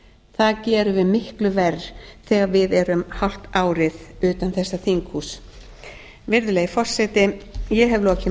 það gerum við miklu verr þegar við erum hálft árið utan þessa þinghúss virðulegi forseti ég hef lokið